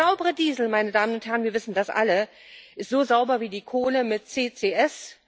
Der saubere Diesel meine Damen und Herren, wir wissen das alle ist so sauber wie die Kohle mit CCS.